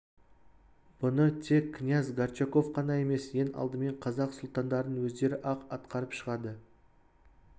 бұны тек князь горчаков қана емес ең алдымен қазақ сұлтандарының өздері-ақ атқарып шығады